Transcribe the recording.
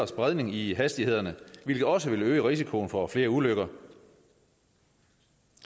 spredning i i hastighederne hvilket også vil øge risikoen for flere ulykker